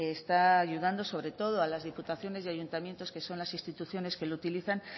está ayudando sobre todo a las diputaciones y ayuntamientos que son las instituciones que las utilizan